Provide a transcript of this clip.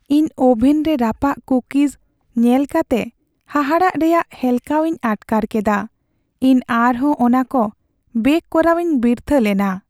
ᱤᱧ ᱳᱵᱷᱮᱱ ᱨᱮ ᱨᱟᱯᱟᱜ ᱠᱩᱠᱤᱡ ᱧᱮᱞ ᱠᱟᱛᱮ ᱦᱟᱦᱟᱲᱟᱜ ᱨᱮᱭᱟᱜ ᱦᱮᱞᱠᱟᱣᱤᱧ ᱟᱴᱠᱟᱨ ᱠᱮᱫᱟ ᱾ᱤᱧ ᱟᱨᱦᱚᱸ ᱚᱱᱟᱠᱚ ᱵᱮᱠ ᱠᱚᱨᱟᱣᱤᱧ ᱵᱤᱨᱛᱷᱟᱹ ᱞᱮᱱᱟ ᱾